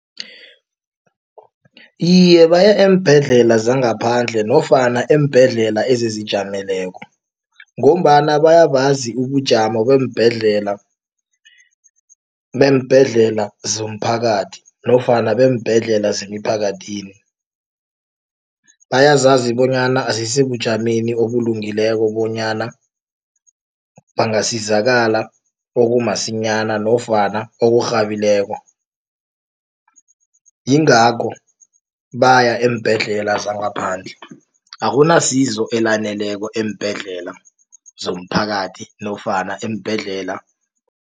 Iye, baya eembhedlela zangaphandle nofana eembhedlela ezizijameleko. Ngombana bayabazi ubujamo beembhedlela beembhedlela zomphakathi nofana beembhedlela zemiphakathini. Bayazazi bonyana azisibujameni obulungileko bonyana bangasizakala okumasinyana nofana okurhabileko. Yingakho baya eembhedlela zangaphandle akunasizo elaneleko eembhedlela zomphakathi nofana eembhedlela.